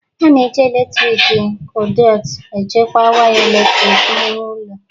A na-eji eletrik kọduịt echekwa waya eletrik n'ime ụlọ